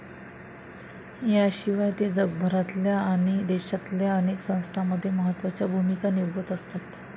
याशिवाय ते जगभरातल्या आणि देशातल्या अनेक संस्थांमध्ये महत्वाच्या भूमिका निभावत असतात.